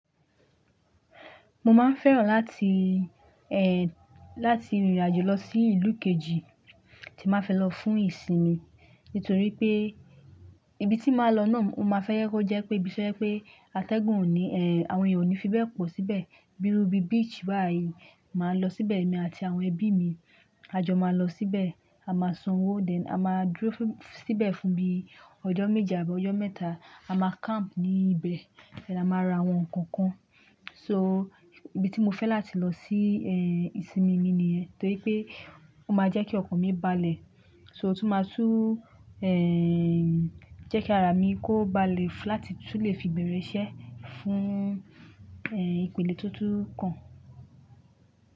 Mo máa ń fẹ́ràn láti, ẹ́, láti rìnrìn àjò lọ sí ìlú kejì tí máa fẹ́ lọ fún ìsinmi. Nítorí pé ibi tí màá lọ náà mo máa fẹ́ yẹ kó jẹ́ pé bíiṣẹ́ pé atẹ́gùn ò ní, ẹ́, àwọn ènìyàn ò ní fi bẹ́ẹ̀ pọ̀ síbẹ̀. Bírú bí beach báyìí, màá lọ síbẹ̀ èmi àti àwọn ẹbí mi. A jọ máa lọ síbẹ̀, a máa sanwó then, a máa dúró síbẹ̀ fún bíi ọjọ́ méji àbọ́ ọjọ́ mẹ́ta. A máa camp ní ibẹ̀, ẹ, a máa ra àwọn nǹkan kan. So ibi tí mo fẹ́ láti lọ sí, ẹ́, ìsinmi mi ni ẹ. Torí pé ó máa jẹ́ kí ọkàn mi balẹ̀. So tó máa tú, ẹ́, jẹ́ kí ara mi kó bá lè láti lè fi bẹ̀rẹ̀ iṣẹ́ fún, ẹ́, ìpele totun kan.